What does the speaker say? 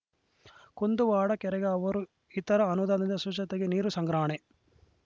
ಕುಂದುವಾಡ ಕೆರೆಗೆ ಅವರು ಇತರ ಅನುದಾನದಿಂದ ಶುಶತೆ ನೀರು ಸಂಗ್ರಹಣಾ